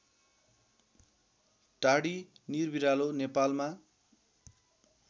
टाडी निरबिरालो नेपालमा